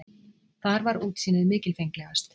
Þar var útsýnið mikilfenglegast.